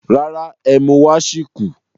Rárá, ẹ́mú wá sì kù